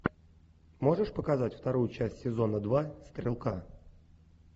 можешь показать вторую часть сезона два стрелка